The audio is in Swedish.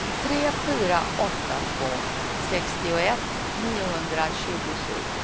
tre fyra åtta två sextioett niohundratjugosju